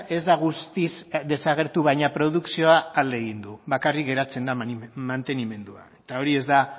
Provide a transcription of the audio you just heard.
ez da guztiz desagertu baina produkzioa alde egin du bakarrik geratzen da mantenimendua eta hori ez da